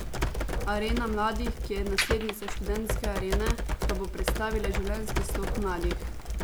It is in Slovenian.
Arena mladih, ki je naslednica Študentske arene, pa bo predstavila življenjski slog mladih.